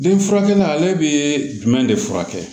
Den furakɛli ale bɛ jumɛn de furakɛ